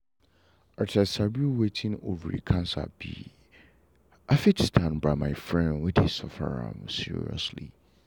as i sabi wetin ovary cancer be i fit stand by my friend wey dey suffer am seriously.